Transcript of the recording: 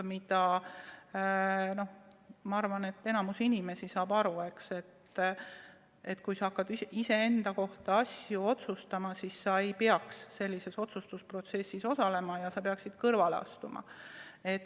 Ma arvan, et enamik inimesi saab aru, et iseenda kohta otsuste langetamise protsessis ei peaks inimene osalema ja ta peaks kõrvale astuma.